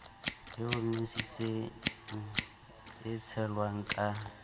e omiswang e tshelwang ka